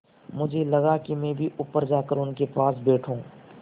मुझे लगा कि मैं भी ऊपर जाकर उनके पास बैठूँ